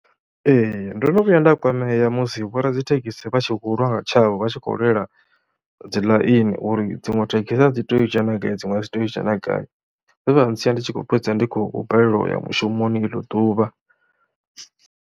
Ee ndo no vhuya nda kwamea musi vhoradzithekhisi vha tshi khou lwa nga tshavho, vha tshi khou lwela dzi ḽaini uri dziṅwe thekhisi a dzi tei u dzhena ngai, dziṅwe a dzi tei u dzhena gai, zwe zwa ntsia ndi tshi khou fhedza ndi khou balelwa u ya mushumoni eḽo ḓuvha.